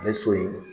A bɛ so in